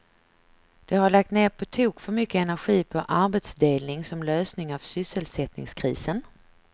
De har lagt ned på tok för mycket energi på arbetsdelning som lösning av sysselsättningskrisen.